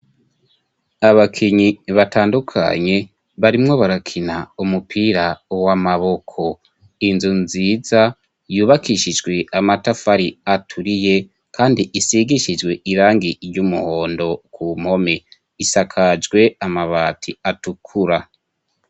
Abakinyi batandukanye barimwo barakina umupira wo amaboko inzu nziza yubakishijwe amatafari aturiye, kandi isigishijwe irangi iryo umuhondo ku mpome isakajwe amabati atukura.